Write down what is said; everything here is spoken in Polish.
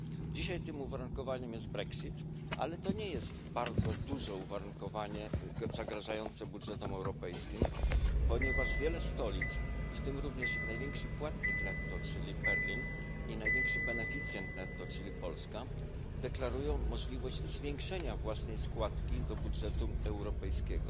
Dzisiaj tym uwarunkowaniem jest brexit, ale to nie jest bardzo duże uwarunkowanie zagrażające budżetom europejskim, ponieważ wiele stolic, w tym również największy płatnik netto, czyli Berlin, i największy beneficjent netto, czyli Polska, deklarują możliwość zwiększenia własnej składki do budżetu europejskiego.